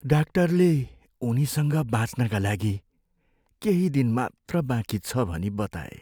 डाक्टरले उनीसँग बाँच्नका लागि केही दिन मात्र बाँकी छ भनी बताए।